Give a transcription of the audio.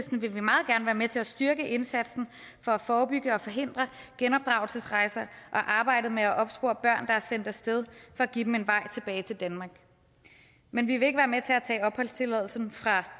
vil vi meget gerne være med til at styrke både indsatsen for at forebygge og forhindre genopdragelsesrejser og arbejdet med at opspore børn der er sendt af sted for at give dem en vej tilbage til danmark men vi vil ikke være med til at tage opholdstilladelsen fra